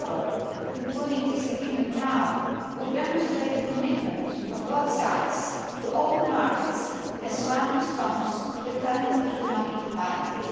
Moreover, concluding that agreement now would demonstrate the commitment of both sides to open markets as one response to the current economic environment.